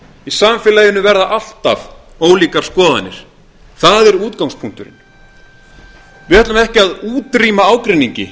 í samfélaginu verða alltaf ólíkar skoðanir það er útgangspunkturinn við ætlum ekki að útrýma ágreiningi